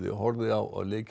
horfði á leik